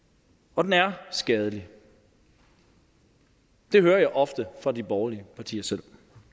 og den er skadelig det hører jeg ofte fra de borgerlige partier selv